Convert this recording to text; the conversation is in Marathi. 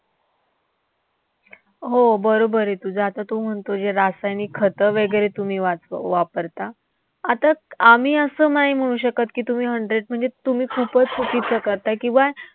हो. बरोबर आहे तुझं. आता तू म्हणतोयस जे रासायनिक खतं वैगरे तुम्ही वापरता, आता आम्ही असं नाही म्हणू शकत की, तुम्ही hundred म्हणजे तुम्ही खूपच चुकीचं करताय किंवा